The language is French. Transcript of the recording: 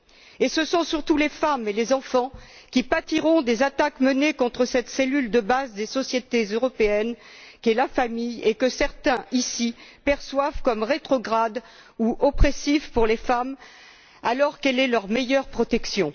Et ce sont surtout les femmes et les enfants qui pâtiront des attaques menées contre cette cellule de base des sociétés européennes qu'est la famille et que certains ici perçoivent comme rétrograde ou oppressive pour les femmes, alors qu'elle est leur meilleure protection.